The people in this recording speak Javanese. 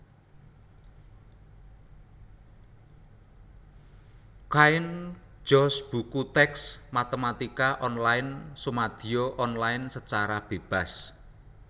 Cain George Buku tèks Matématika Online sumadiya online sacara bébas